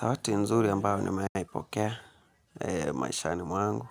Zawadi nzuri ambayo nimewai pokea maishani mwangu.